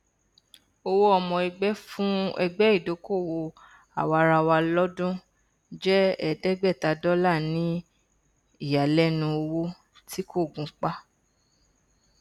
owó ọmọẹgbẹ fún ẹgbẹ ìdókòwò àwaraawa lọdún jẹ ẹẹdẹgbẹta dollar ní ìyàlẹnu owó tí kò gunpá